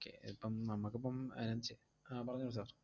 Okay ഇപ്പം നമ്മക്കിപ്പം അയിനാത്ത് ചെ~ ആഹ് പറഞ്ഞോളൂ sir